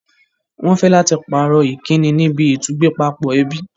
Wọ́n fẹ́ láti pàrọ̀ Ìkíni níbi ìtúgbẹ́pápọ̀ ẹbí